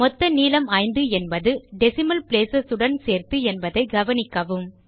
மொத்த நீளம் ஐந்து என்பது டெசிமல் placesஉடன் சேர்த்து என்பதை கவனிக்கவும்